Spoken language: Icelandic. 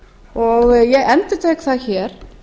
lið ég endurtek það hér